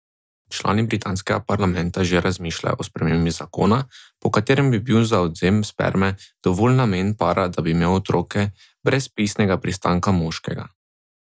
Člani britanskega parlamenta že razmišljajo o spremembi zakona, po katerem bi bil za odvzem sperme dovolj namen para, da bi imel otroke, brez pisnega pristanka moškega.